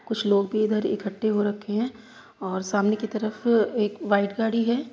कुछ लोग भी इधर इकट्ठे हो रखे हैं और सामने की तरफ एक व्हाइट गाड़ी है।